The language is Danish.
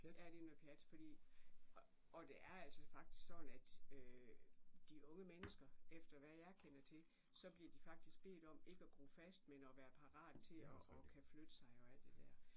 Ja det noget pjat fordi og det er altså faktisk sådan at de unge mennesker efter hvad jeg kender til så bliver de faktisk bedt om ikke at gro fast men at være parate til og og kan flytte sig og alt det der